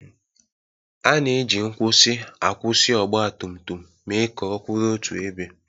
A na-eji nkwusi akwụsị ọgbatumtum mee ka ọ kwụrụ otu ebe.